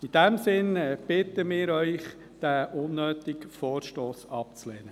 In diesem Sinne bitten wir Sie, diesen unnötigen Vorstoss abzulehnen.